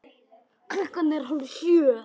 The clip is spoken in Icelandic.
Klukkan er hálf sjö.